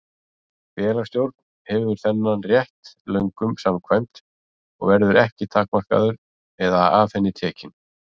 Félagsstjórn hefur þennan rétt lögum samkvæmt og verður hann ekki takmarkaður eða af henni tekinn.